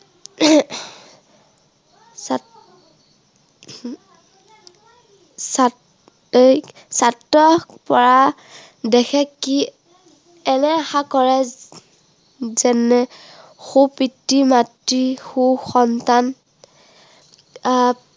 এৰ ছাত্ৰৰ পৰা দেশে কি, এনে আশা কৰে যেনে সু পিতৃ-মাতৃৰ সু সন্তান আহ